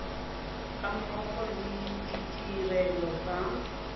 ga mmogo le ditirelo tsa